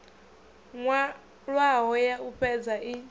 nwalwaho ya u fhedza i